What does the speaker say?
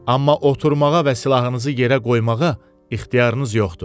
Amma oturmağa və silahınızı yerə qoymağa ixtiyarınız yoxdur.